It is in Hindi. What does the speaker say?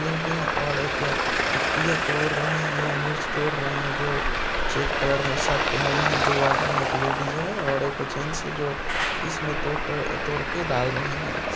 और एक पत्तियां तोड़ रहे हैं और मिर्च तोड़ रहे हैं जो चेक कलर में शर्ट पहने हुए हैं दो आदमी एक लेडिज है और जैंट्स है जो इसमें टोट अ--तोड़के डाल रहे हैं